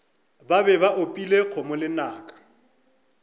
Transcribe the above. be ba opile kgomo lenaka